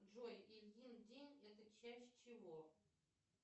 джой ильин день это часть чего